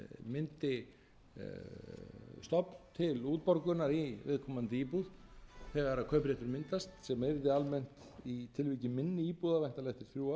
myndi stofn til útborgunar í viðkomandi íbúð þegar kaupréttur myndast sem yrði almennt í tilviki minni íbúða væntanlega eftir þrjú